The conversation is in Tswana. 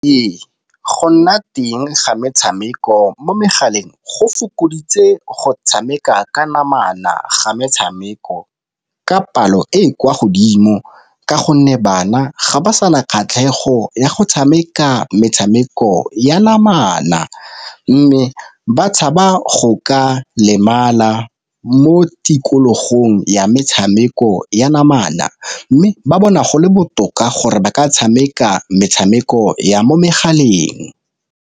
Ee, go nna teng ga metshameko mo megaleng go fokoditse go tshameka ka namana ga metshameko, ka palo e e kwa godimo ka gonne bana ga ba sana kgatlhego ya go tshameka metshameko ya namana. Mme ba tshaba go ka lemala mo tikologong ya metshameko ya namana, mme ba bona go le botoka gore ba ka tshameka metshameko ya mo megaleng.